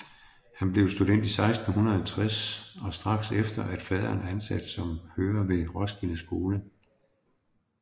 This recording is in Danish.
Han blev student 1660 og strax efter af faderen ansat som hører ved Roskilde Skole